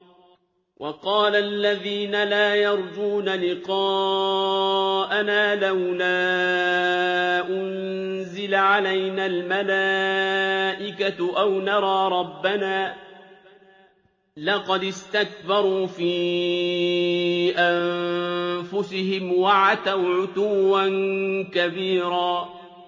۞ وَقَالَ الَّذِينَ لَا يَرْجُونَ لِقَاءَنَا لَوْلَا أُنزِلَ عَلَيْنَا الْمَلَائِكَةُ أَوْ نَرَىٰ رَبَّنَا ۗ لَقَدِ اسْتَكْبَرُوا فِي أَنفُسِهِمْ وَعَتَوْا عُتُوًّا كَبِيرًا